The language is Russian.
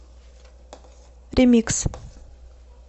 ремикс